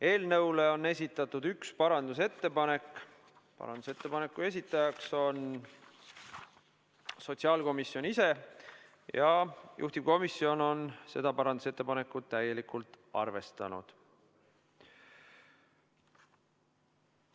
Eelnõule on esitatud üks parandusettepanek, esitajaks on sotsiaalkomisjon ise ja juhtivkomisjon on seda parandusettepanekut täielikult arvestanud.